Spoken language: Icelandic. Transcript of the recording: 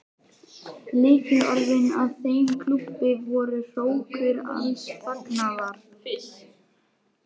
Lykilorðin að þeim klúbbi voru: hrókur alls fagnaðar.